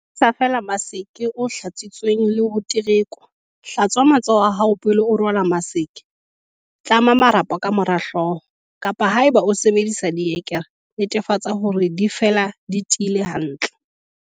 Sebedisa feela maske o hlatsitsweng le ho terekwa. Hlatswa matsoho a hao pele o rwala maske. Tlama marapo ka mora hlooho, kapa haeba o sebedisa dire-kere, netefatsa hore di fela di tiile hantle.5.